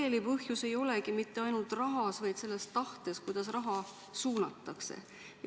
Ent sageli ei olegi asi mitte ainult rahas, vaid ka selles tahtes, kuidas raha suunatakse.